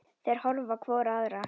Þær horfa hvor á aðra.